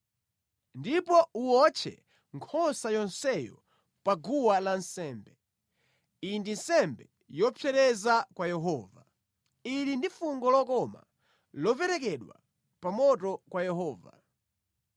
Ndipo uwotche nkhosa yonseyo pa guwa lansembe. Iyi ndi nsembe yopsereza ya kwa Yehova. Ili ndi fungo lokoma, loperekedwa pa moto kwa Yehova.